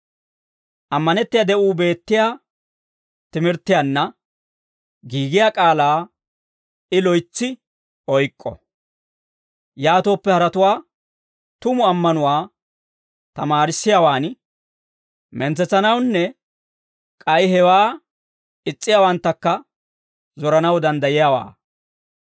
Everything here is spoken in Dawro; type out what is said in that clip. Ammanettiyaa de'uu beettiyaa timirttiyaanna giigiyaa k'aalaa I loytsi oyk'k'o. Yaatooppe haratuwaa tumu ammanuwaa tamaarissiyaawaan mentsetsanawunne k'ay hewaa is's'iyaawanttakka zoranaw danddayanawaa.